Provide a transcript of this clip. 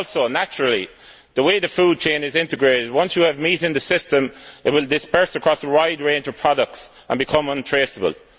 Also, naturally, owing to the way the food chain is integrated, once you have meat in the system it will disperse across a wide range of products and become untraceable.